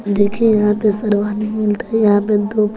यहां पे दो--